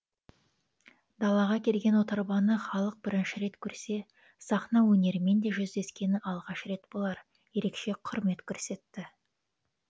далаға келген отарбаны халық бірінші рет көрсе сахна өнерімен де жүздескені алғаш рет болар ерекше құрмет көрсетті